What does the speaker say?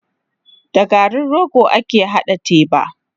Da garin rogo ake haɗa teba.